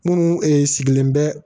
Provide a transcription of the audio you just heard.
Minnu sigilen bɛ